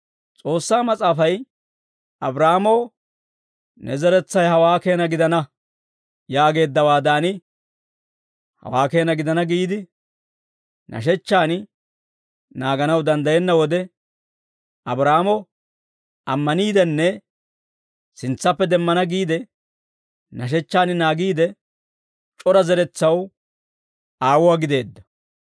S'oossaa Mas'aafay Abraahaamoo, «Ne zeretsay hawaa keena gidana» yaageeddawaadan, hawaa keena gidana giide, nashechchaan naaganaw danddayenna wode, Abraahaamo ammaniidenne sintsappe demmana giide, nashechchaan naagiide, c'ora zeretsaw aawuwaa gideedda.